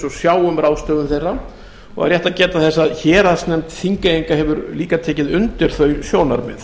og sjá um ráðstöfun þeirra er rétt að geta þess að héraðsnefnd þingeyinga hefur tekið undir þau sjónarmið